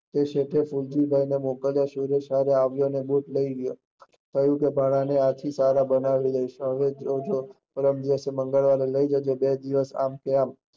તે શેઠે મોકલી ખીમજીભાઈ ને મોકલી સુરેશ સર આવ્યા ને ખુદ બુટ લઇ ગયો, ભાણા તને આના થી સારા બનવી દૈસ પરમ દિવસ મંગળવારે લઇ જજે બે દિવસ આમ કે આમ